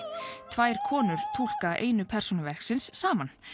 tvær konur túlka einu persónu verksins saman